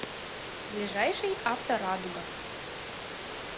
ближайший авторадуга